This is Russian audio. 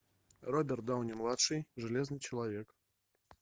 роберт дауни младший железный человек